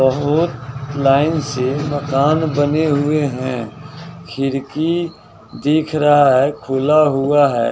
बहुत लाइन से मकान बने हुए हैं खिरकी दिख रहा है खुला हुआ है।